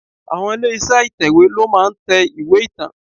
Àwọn ilé iṣẹ́ ìtẹ̀wè ló máa ń tẹ ìwé ìtàn.